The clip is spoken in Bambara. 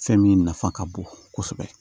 Fɛn min nafa ka bon kosɛbɛ